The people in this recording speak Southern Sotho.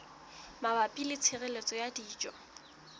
mabapi le tshireletso ya dijo